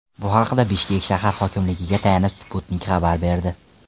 Bu haqda Bishkek shahar hokimligiga tayanib, Sputnik xabar berdi .